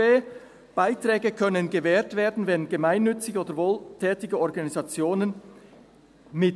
«Beiträge können gewährt werden an gemeinnützige oder wohltätige Organisationen [